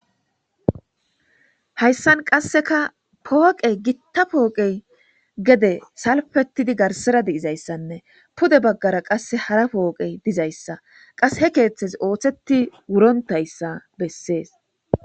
hayssan qasseka pooqe gitta pooqey gede salfetidi garsira di7izayssanne pude baggara qasse hara pooqey dizayssa qas he keeththes ooththeti wurontayssa bessees